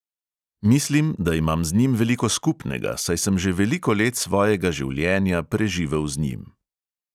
Mislim, da imam z njim veliko skupnega, saj sem že veliko let svojega življenja preživel z njim.